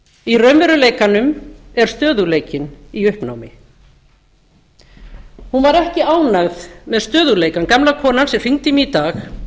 í raunveruleikanum er stöðugleikinn í uppnámi hún var ekki ánægð með stöðugleikann gamla konan sem hringdi í mig í dag